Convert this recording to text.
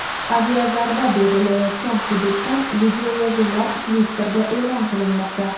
Aviazarba berilayotgan hududdan videoyozuvlar Twitter’da e’lon qilinmoqda.